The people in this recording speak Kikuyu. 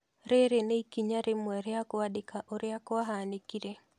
Rĩrĩ nĩ ikinya rĩmwe rĩa kwandĩka ũrĩa kwahanĩkire.